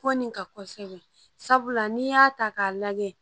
Ko nin kan kosɛbɛ n'i y'a ta k'a lajɛ